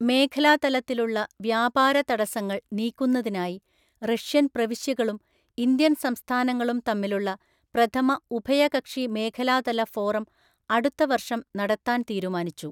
മേഖലാതലത്തിലുള്ള വ്യാപാര തടസ്സങ്ങള്‍ നീക്കുന്നതിനായി റഷ്യന്‍ പ്രവിശ്യകളും ഇന്ത്യന്‍ സംസ്ഥാനങ്ങളും തമ്മിലുള്ള പ്രഥമ ഉഭയകക്ഷി മേഖലാതല ഫോറം അടുത്ത വർഷം നടത്താന്‍ തീരുമാനിച്ചു.